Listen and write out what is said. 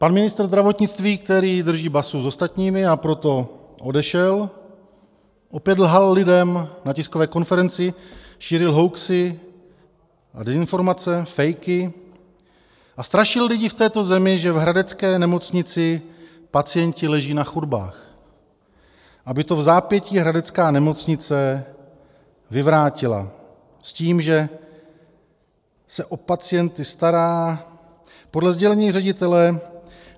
Pan ministr zdravotnictví, který drží basu s ostatními, a proto odešel, opět lhal lidem na tiskové konferenci, šířil hoaxy a dezinformace, fejky a strašil lidi v této zemi, že v hradecké nemocnici pacienti leží na chodbách, aby to vzápětí hradecká nemocnice vyvrátila s tím, že se o pacienty stará, podle sdělení ředitele.